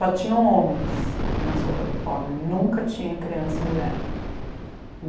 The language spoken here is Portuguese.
Só tinham homens na sopa do pobre, nunca tinha criança e mulher.